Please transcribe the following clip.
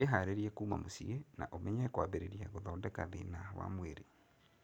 Wĩharĩrie kuma mũcie, na ũmenye kwambĩrĩria gũthondeka thĩna wa mwĩrĩ.